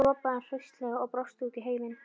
Svo ropaði hann hraustlega og brosti út í heiminn.